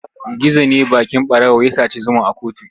Gizo ne baƙin ɓarawo ya saci zuma a kuttu.